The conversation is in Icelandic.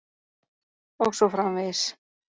. og svo framvegis.